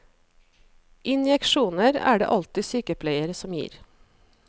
Injeksjoner er det alltid sykepleier som gir.